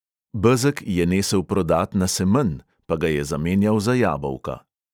Bezeg je nesel prodat na semenj, pa ga je zamenjal za jabolka.